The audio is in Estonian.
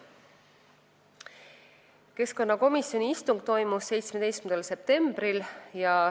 Keskkonnakomisjoni istung toimus 17. septembril.